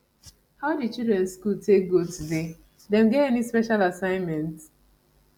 how di children school take go today dem get any special assignment